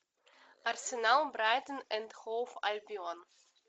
арсенал брайтон энд хоув альбион